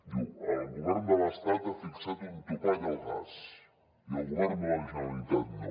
diu el govern de l’estat ha fixat un topall al gas i el govern de la generalitat no